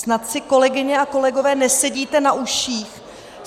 Snad si, kolegyně a kolegové, nesedíte na uších.